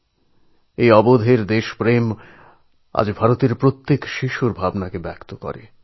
এই নিষ্পাপ শিশুর উৎসাহের সঙ্গে এই দৃঢ় সঙ্কল্প ভাবনা আজ ভারতবর্ষের ছোট ছোট সন্তানদের ভাবনাকে প্রকাশ করে